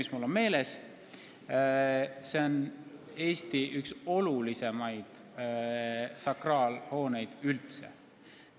See on Eesti olulisimaid sakraalhooneid üldse.